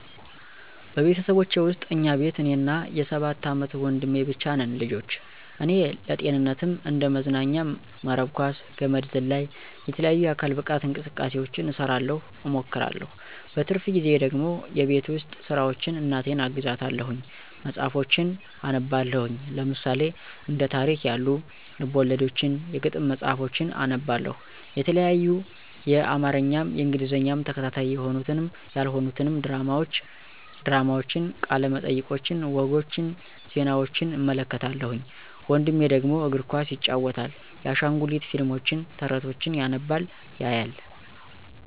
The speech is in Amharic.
በቤተሰቦቼ ውስጥ እኛ ቤት እኔና የ ሰባት አመት ወንድሜ ብቻ ነን ልጆች ... እኔ ለጤንነትም እንደ መዝናኛም መረብ ኳስ፣ ገመድ ዝላይ፣ የተለያዩ የአካል ብቃት እንቅስቃሴውችን እሰራለሁ እሞክራለሁ። በትርፍ ጊዜየ ደግሞ የቤት ውስጥ ስራውችን እናቴን አግዛታለሁኝ። መፅሀፎችን አነባለሁኝ ለምሳሌ፦ እንደ ታሪክ ያሉ፦ ልብወለዶችን፥ የግጥም መፅሀፎችን አነባለሁ የተለያዪ የአማርኛም የእንግሊዘኛም ተከታታይ የሆኑትንም ያልሆኑትንም ድራማውችን፦ ቃለ መጠየቆችን፦ ወጎች፦ ዜናውችን እመለከታለሁኝ። ወንድሜ ደግሞ፦ እግር ኳስ ይጫወታል። የአሻንጉሊት ፊልሞችን፣ ተረቶችን ያነባል ያያል።